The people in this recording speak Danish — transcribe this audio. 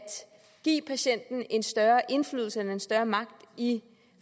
give patienten en større indflydelse eller en større magt i